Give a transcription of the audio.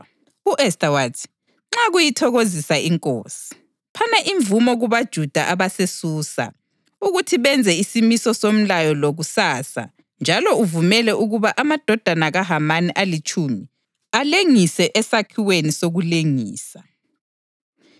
U-Esta wathi, “Nxa kuyithokozisa inkosi, phana imvumo kubaJuda abaseSusa ukuthi benze isimiso somlayo lo kusasa njalo uvumele ukuba amadodana kaHamani alitshumi alengiswe esakhiweni sokulengisa.”